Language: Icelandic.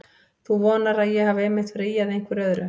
Þú vonar að ég hafi einmitt verið að ýja að einhverju öðru.